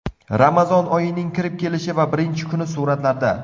Ramazon oyining kirib kelishi va birinchi kuni suratlarda.